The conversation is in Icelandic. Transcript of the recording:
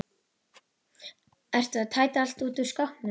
Ertu að tæta allt út úr skápnum?